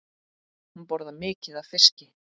Hún borðar mikið af fiski.